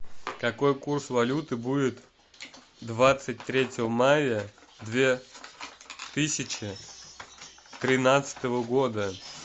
какой курс валюты будет двадцать третьего мая две тысячи тринадцатого года